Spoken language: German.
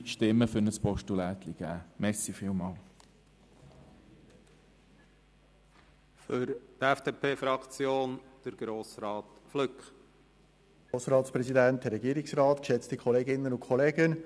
Wenn es daraus ein Postulat gibt, wird es wahrscheinlich vereinzelte Stimmen dafür geben.